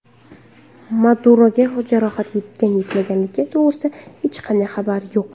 Maduroga jarohat yetgan-yetmaganligi to‘g‘risida hech qanday xabar yo‘q.